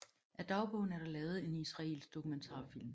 Af dagbogen er der lavet en israelsk dokumentarfilm